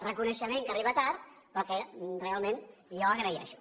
reconeixement que arriba tard però que realment jo agraeixo